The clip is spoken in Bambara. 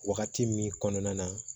Wagati min kɔnɔna na